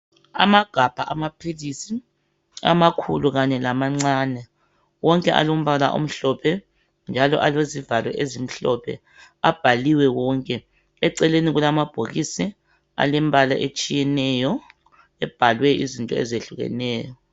Amagabha amaphilisi, amakhulu kanye lamancane, wonke alombala omhlophe njalo alezivalo ezimhlophe, abhaliwe wonke. Eceleni kulamabhokisi alembala etshiyeneyo ebhalwe izinto ezehlukeneyo.